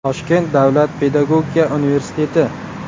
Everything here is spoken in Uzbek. Toshkent davlat pedagogika universiteti.